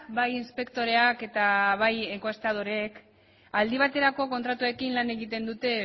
bai inspektoreak eta bai enkuestadoreek aldi baterako kontratuekin lan egiten dute